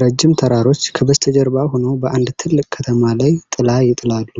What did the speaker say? ረጅም ተራሮች ከበስተጀርባ ሆነው በአንድ ትልቅ ከተማ ላይ ጥላ ይጥላሉ።